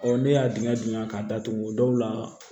ne y'a dingɛ dingɛ k'a datugu o dɔw la